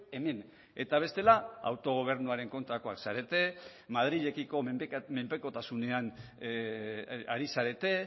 hemen eta bestela autogobernuaren kontrakoak zarete madrilekiko menpekotasunean ari zarete